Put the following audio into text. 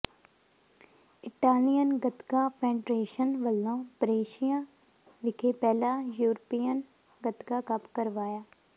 Italian Gatka federation ਵੱਲੋਂ Brescia ਵਿਖੇ ਪਹਿਲਾ ਯੂਰਪੀਅਨ ਗਤਕਾ ਕੱਪ ਕਰਵਾਇਆ